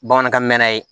Bamanankan mɛn na ye